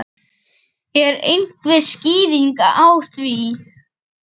Er einhver skýring á því?